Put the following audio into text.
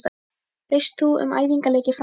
Veist þú um æfingaleiki framundan?